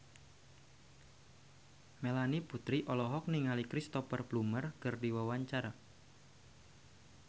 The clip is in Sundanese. Melanie Putri olohok ningali Cristhoper Plumer keur diwawancara